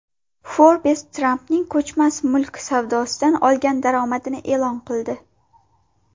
Forbes Trampning ko‘chmas mulk savdosidan olgan daromadini e’lon qildi.